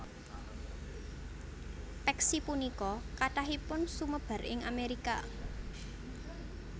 Peksi punika kathahipun sumebar ing Amerika